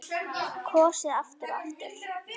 Kosið aftur og aftur?